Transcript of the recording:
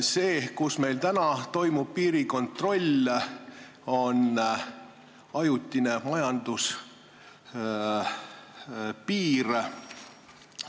See, kus meil praegu piirikontroll toimub, on ajutine majanduspiir.